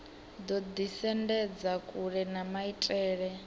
ḓo ḓisendedza kule na maitele